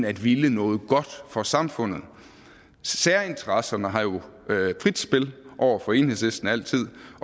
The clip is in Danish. at ville noget godt for samfundet særinteresserne har jo frit spil over for enhedslisten altid